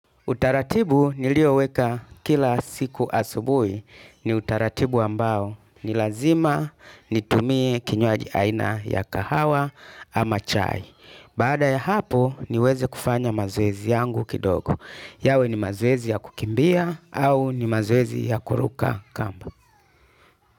Utaratibu nilioweka kila siku asubui ni utaratibu ambao ni lazima nitumie kinywaji aina ya kahawa ama chai. Baada ya hapo niweze kufanya mazoezi yangu kidogo. Yawe ni mazoezi ya kukimbia au ni mazoezi ya kuruka kamba.